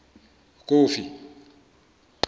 kofi